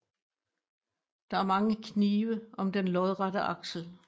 Der er mange knive om den lodrette aksel